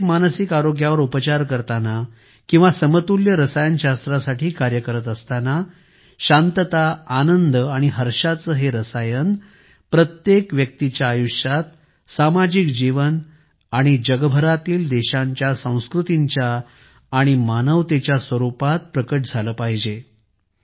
अंतर्गत मानसिक आरोग्यावर उपचार करताना किंवा समतुल्य रसायनशास्त्रासाठी कार्य करत असताना शांतता आनंद आणि हर्षाचे हे रसायन प्रत्येक व्यक्तीच्या आयुष्यात सामाजिक जीवन आणि जगभरातील देशांच्या संस्कृतींच्या आणि मानवतेच्या माध्यमाने आले पाहिजे